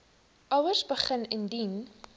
ouers begin indien